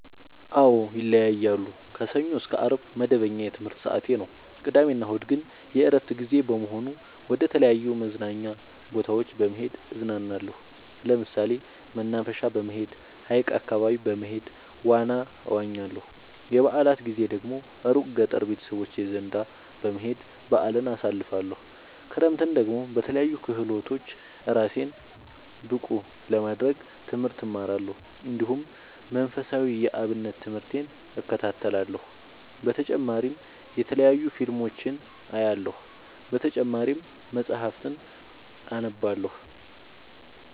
አዎ ይለያያለሉ። ከሰኞ እስከ አርብ መደበኛ የትምህርት ሰዓቴ ነው። ቅዳሜ እና እሁድ ግን የእረፍት ጊዜ በመሆኑ መደተለያዩ መዝናኛ ቦታዎች በመሄድ እዝናናለሁ። ለምሳሌ መናፈሻ በመሄድ። ሀይቅ አካባቢ በመሄድ ዋና እዋኛለሁ። የበአላት ጊዜ ደግሞ እሩቅ ገጠር ቤተሰቦቼ ዘንዳ በመሄድ በአልን አሳልፍለሁ። ክረምትን ደግሞ በለያዩ ክህሎቶች እራሴን ብቀሐ ለማድረግ ትምህርት እማራለሁ። እንዲሁ መንፈሳዊ የአብነት ትምህርቴን እከታተላለሁ። በተጨማሪ የተለያዩ ፊልሞችን አያለሁ። በተጨማሪም መፀሀፍትን አነባለሁ።